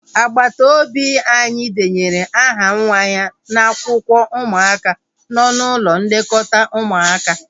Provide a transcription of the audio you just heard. Agbata obi anyị denyere aha nwa ya n'akwụkwọ ụmụaka nọ n'ụlọ nlekọta ụmụaka